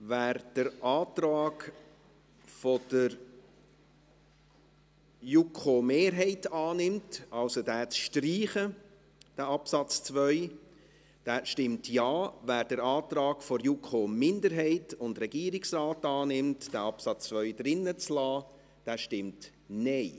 Wer den Antrag der JuKo-Mehrheit auf Streichung des Absatzes 2 annimmt, stimmt Ja, wer den Antrag der JuKo-Minderheit und des Regierungsrates annimmt, wonach der Absatz 2 zu belassen sei, stimmt Nein.